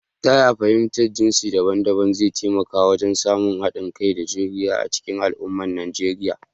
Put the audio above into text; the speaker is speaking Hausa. Ta yaya fahimtar jinsi daban-daban zai taimaka wajen samun haɗin kai da juriya a cikin al’umma a Nijeriya?